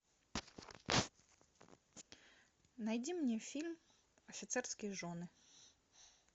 найди мне фильм офицерские жены